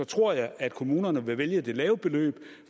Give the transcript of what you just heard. tror jeg at kommunerne vil vælge det lave beløb